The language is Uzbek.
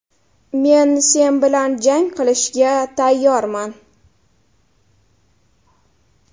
Men sen bilan jang qilishga tayyorman.